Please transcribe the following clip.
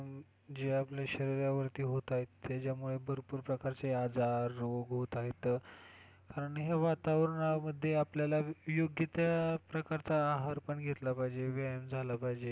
जे आपल्या शरीरावरती होत आहेत त्याच्यामुळे भरपूर प्रकारचे आजार रोग होत आहेत कारण हे वातावरणामध्ये आपल्याला योग्य त्या प्रकारचा आहार पण घेतला पाहिजे, व्यायाम झाला पाहिजे.